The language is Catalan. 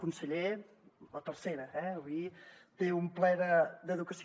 conseller la tercera eh avui té un ple d’educació